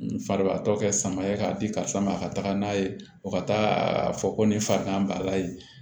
Farigantɔ kɛ sama ye k'a di karisa ma ka taga n'a ye o ka taa fɔ ko nin farigan b'a la yen